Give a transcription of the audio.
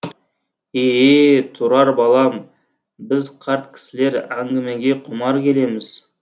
е е тұрар балам біз қарт кісілер әңгімеге құмар келеміз